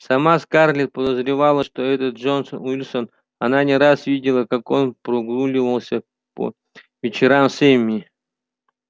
сама скарлетт подозревала что это джонас уилкерсон она не раз видела как он прогуливался по вечерам с эмми